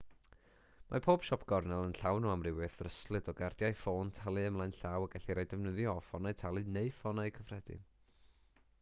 mae pob siop gornel yn llawn o amrywiaeth ddryslyd o gardiau ffôn talu ymlaen llaw y gellir eu defnyddio o ffonau talu neu ffonau cyffredin